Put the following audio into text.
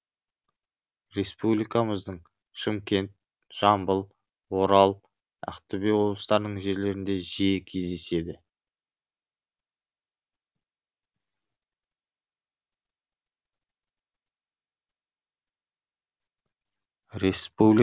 республикамыздың шымкент жамбыл орал ақтөбе облыстарының жерлерінде жиі кездеседі